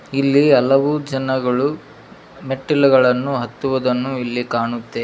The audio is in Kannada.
ಇಲ್ಲಿ ಹಲವು ಜನಗಳು ಮೆಟ್ಟಿಲುಗಳನ್ನು ಹತ್ತುವುದನ್ನು ಇಲ್ಲಿ ಕಾಣುತ್ತೇ--